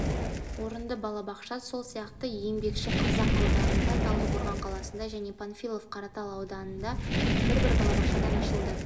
орынды балабақша сол сияқты еңбекшіқазақ ауданында талдықорған қаласында және панфилов қаратал аудандарында бір-бір балабақшадан ашылды